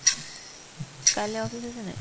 কাইলৈ office আছেনে নে ?